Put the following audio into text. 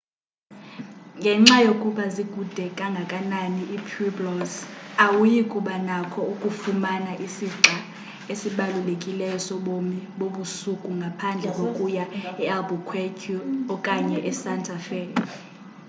ngenxa yokuba zikude kangakanani ii-pueblos awuyi kuba nakho ukufumana isixa esibalulekileyo sobomi bobusuku ngaphandle kokuya ealbuquerque okanye esanta fe